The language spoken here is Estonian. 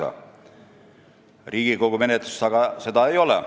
Eelnõu Riigikogu menetluses veel ei ole.